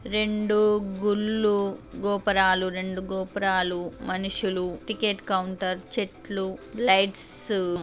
రెండు గుళ్ళు గోపురాలు రెండు గోపురాలు మనుషులు టికెట్ కౌంటర్ చెట్లు లైట్స్ .